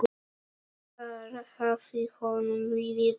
Þar hafði honum liðið vel.